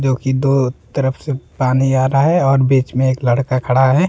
क्योंकि दो तरफ से पानी आ रहा हैं और बीच में एक लड़का खड़ा है।